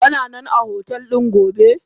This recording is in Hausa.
Kananan a hotel gobe?